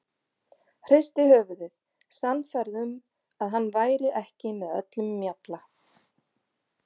Hristi höfuðið, sannfærð um að hann væri ekki með öllum mjalla.